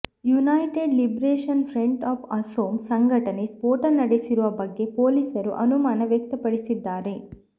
United liberation front of Asom ಸಂಘಟನೆ ಸ್ಫೋಟ ನಡೆಸಿರುವ ಬಗ್ಗೆ ಪೊಲೀಸರು ಅನುಮಾನ ವ್ಯಕ್ತಪಡಿಸಿದ್ದಾರೆ